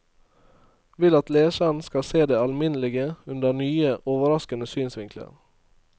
Vil at leseren skal se det alminnelige under nye, overraskende synsvinkler.